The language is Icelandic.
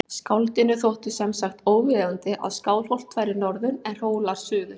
Skáldinu þótti sem sagt óviðeigandi að Skálholt færi norður en Hólar suður.